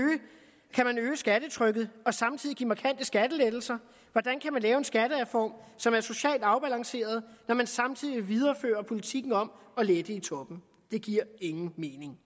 skattetrykket og samtidig give markante skattelettelser hvordan kan man lave en skattereform som er socialt afbalanceret når man samtidig viderefører politikken om at lette i toppen det giver ingen mening